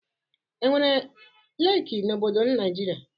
Enwere leeki n'obodo Naịjịrịa?